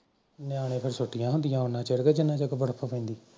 ਨਿਆਣੇ ਫਿਰ ਉਨਾ ਚਿਰ ਛੁਟੀਆਂ ਹੁੰਦੀਆਂ ਜਿੰਨੇ ਚਿਰ ਬਰਫ ਪੈਂਦੀ